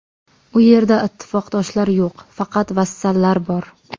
U yerda ittifoqdoshlar yo‘q, faqat vassallar bor.